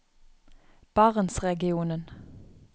barentsregionen